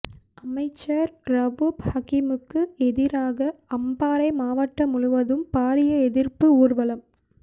அமைச்சர் ரவூப் ஹக்கிமுக்கு எதிராக அம்பாறை மாவட்டம் முழுவதும் பாரிய எதிர்ப்பு ஊர்வலம்